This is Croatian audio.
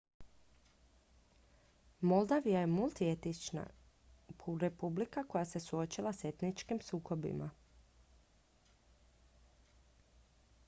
moldavija je multietnička republika koja se suočila s etničkim sukobima